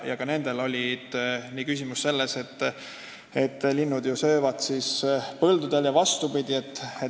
Ka nende küsimus oli, et linnud ju söövad põldudel.